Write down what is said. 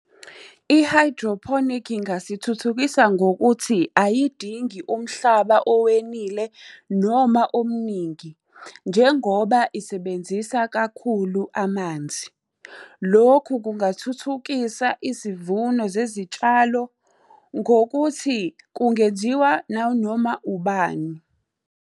I-hydroponic ingasithuthukisa ngokuthi, ayidingi umhlaba owenile noma omningi, njengoba isebenzisa kakhulu amanzi. Lokhu kungathuthukisa izivuno zezitshalo, ngokuthi kungenziwa nanoma ubani.